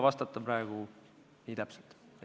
Täpselt ma praegu vastata ei suuda.